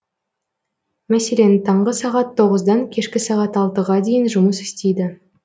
мәселен таңғы сағат тоғыздан кешкі сағат алтыға дейін жұмыс істейді